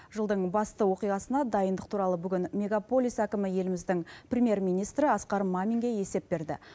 жылдың басты оқиғасына дайындық туралы бүгін мегаполис әкімі еліміздің премьер министрі асқар маминге есеп берді